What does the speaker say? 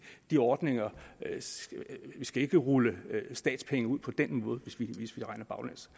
de ordninger ikke skal rulle statspenge ud på den måde hvis vi regner baglæns